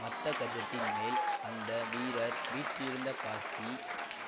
மத்தகஜத்தின் மேல் அந்த வீரர் வீற்றிருந்த காட்சி